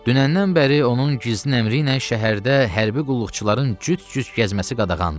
Dünəndən bəri onun gizli əmri ilə şəhərdə hərbi qulluqçuların cüt-cüt gəzməsi qadağandır.